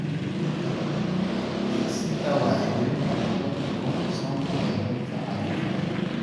Dhisidda Wacyigelinta Cuntada Kalluunka Soonka ayaa dadka caawin kara.